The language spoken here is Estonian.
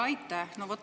Aitäh!